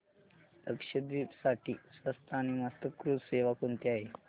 लक्षद्वीप साठी स्वस्त आणि मस्त क्रुझ सेवा कोणती आहे